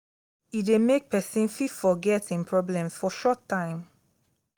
e de make persin fit forget im problems for short time